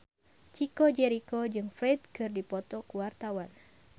Chico Jericho jeung Ferdge keur dipoto ku wartawan